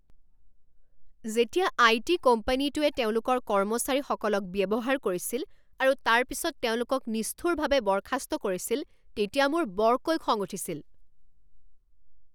যেতিয়া আইটি কোম্পানীটোয়ে তেওঁলোকৰ কৰ্মচাৰীসকলক ব্যৱহাৰ কৰিছিল আৰু তাৰ পিছত তেওঁলোকক নিষ্ঠুৰভাৱে বৰ্খাস্ত কৰিছিল তেতিয়া মোৰ বৰকৈ খং উঠিছিল।